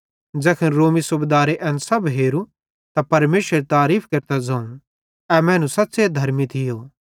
ज़ैखन रोमी सूबेदारे एन सब हेरू त परमेशरेरी तारीफ़ केरते ज़ोवं ए मैनू सच़्च़े धर्मी थियो